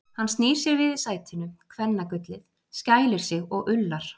Hann snýr sér við í sætinu, kvennagullið, skælir sig og ullar.